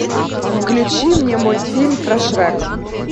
включи мне мультфильм про шрека